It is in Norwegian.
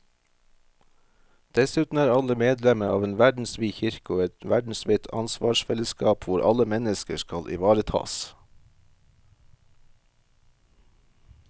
Dessuten er alle medlemmer av en verdensvid kirke og et verdensvidt ansvarsfellesskap hvor alle mennesker skal ivaretas.